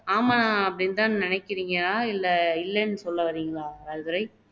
ஆமா அப்படின்னுதான் நினைக்கிறீங்களா இல்லை இல்லைன்னு சொல்ல வர்றீங்களா ராஜதுரை